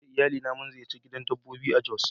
Ni da iyalina mun ziyarci gidan dabbobi a jos.